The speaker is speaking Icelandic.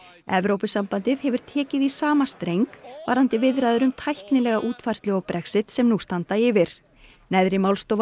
Evrópusambandið hefur tekið í sama streng varðandi viðræður um tæknilega útfærslu á Brexit sem nú standa yfir neðri málstofa